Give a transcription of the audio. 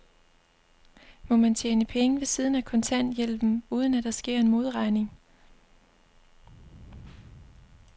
Må man tjene penge ved siden af kontanthjælpen, uden at der sker en modregning?